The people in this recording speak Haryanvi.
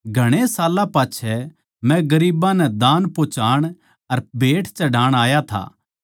घणे साल्लां पाच्छै मै गरीबां नै दान पोहोचाण अर भेंट चढ़ाण आया था